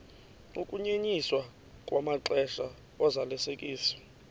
ukunyenyiswa kwamaxesha ozalisekiso